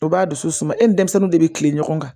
O b'a dusu suma e ni denmisɛnnu de be kilen ɲɔgɔn kan